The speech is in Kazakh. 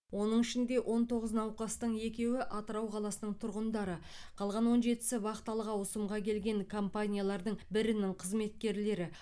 оның ішінде он тоғыз науқастың екеуі атырау қаласының тұрғындары қалған он жетісі вахталық ауысымға келген компаниялардың бірінің қызметкерлері